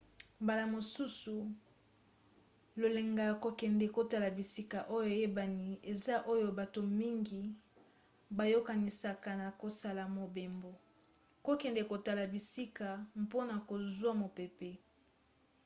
mbala mosusu lolenge ya kokende kotala bisika oyo eyebani eza oyo bato mingi bayokanisaka na kosala mobembo: kokende kotala bisika mpona kozwa mopepe